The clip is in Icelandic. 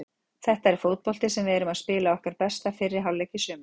Þetta er fótbolti við erum að spila okkar besta fyrri hálfleik í sumar.